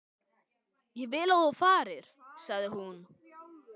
Ég vil að þú farir, sagði hún.